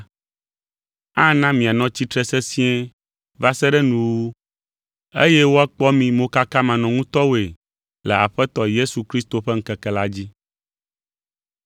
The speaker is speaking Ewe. Ana mianɔ tsitre sesĩe va se ɖe nuwuwu, eye woakpɔ mi mokakamanɔŋutɔwoe le Aƒetɔ Yesu Kristo ƒe ŋkeke la dzi.